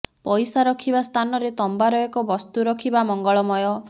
ପଇସା ରଖିବା ସ୍ଥାନରେ ତମ୍ବାର ଏକ ବସ୍ତୁ ରଖିବା ମଙ୍ଗଳମୟ